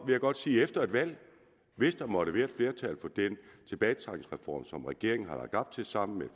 jeg godt sige efter et valg hvis der måtte være flertal for den tilbagetrækningsreform som regeringen har lagt op til sammen med